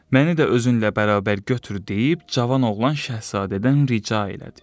Məni də özünlə bərabər götür deyib cavan oğlan şahzadədən rica elədi.